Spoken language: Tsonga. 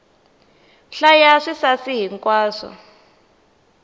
hlaya swisasi hi nkwaswo